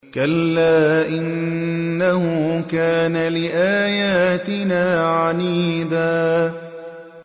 كَلَّا ۖ إِنَّهُ كَانَ لِآيَاتِنَا عَنِيدًا